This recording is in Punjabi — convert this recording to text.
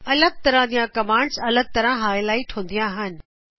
ਅਲਗ ਤਰ੍ਹਾਂ ਦੀ ਕਮਾਂਡਜ਼ ਅਲਗ ਤਰ੍ਹਾਂ ਹਾਈਲਾਈਟ ਹੁੰਦਿਆਂ ਹਨ